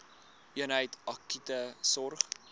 eenheid akute sorg